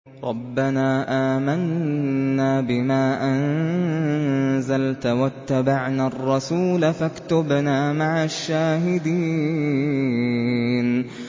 رَبَّنَا آمَنَّا بِمَا أَنزَلْتَ وَاتَّبَعْنَا الرَّسُولَ فَاكْتُبْنَا مَعَ الشَّاهِدِينَ